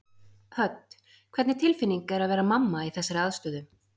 Hödd: Hvernig tilfinning er að vera mamma í þessari aðstöðu?